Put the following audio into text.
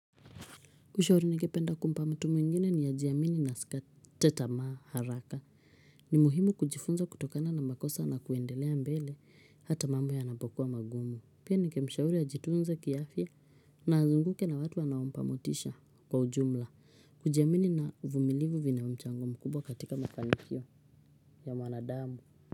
Ushauri ninge penda kumpa mtu mwingine ni ajiamini na asikate tamaa haraka. Ni muhimu kujifunza kutokana na makosa na kuendelea mbele hata mambo ya napokuwa magumu. Pia ninge mshauri ajitunze kiafya na azunguke na watu wanaompa motisha kwa ujumla. Kujiamini na vumilivu vina mchango mkubwa katika makafanikio ya mwanadamu.